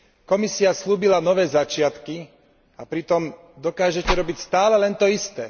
Komisia sľúbila nové začiatky a pritom dokážete robiť stále len to isté.